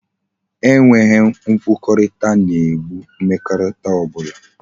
E nweghi nkwukorita na e gbo mmekorita obula